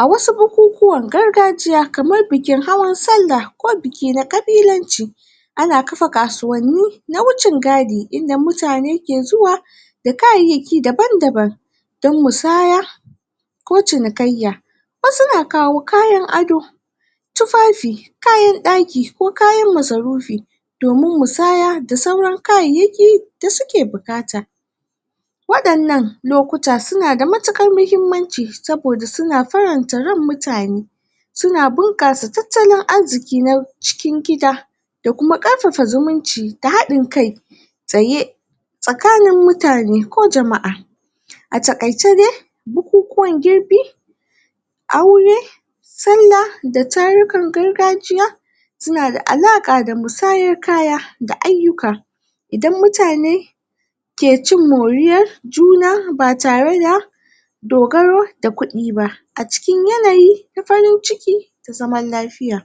a wasu bukukuwan gargajiya kamar bikin hawan sallah ko biki na ƙabilanci ana kafa kasuwanni na wucin gadi inda mutane ke zuwa da kayyaki daban daban don musaya ko cinikayya wasu na kawo kayan ado tufafi kayan ɗaki ko kayan masarufi domin musaya da sauran kayayyaki da suke buƙata waɗannan lokuta suna da matuƙar mahimmanci saboda suna faranta ran mutane suna bunƙasa tattalin arziƙi na cikin gida da kuma ƙarfafa zuminci da kuma haɗin kai tsaye tsakanin mutane ko jama'a? a taƙaice dai bukukuwan girbi aure sallah da tarurrukan gargajiya suna da alaƙa da musayar kaya da aiyuka idan mutane ke cin moriyar juna ba tare da dogaro da kuɗi ba a cikin yanayi na farin ciki da zaman lafiya